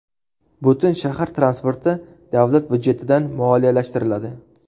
Butun shahar transporti davlat budjetidan moliyalashtiriladi.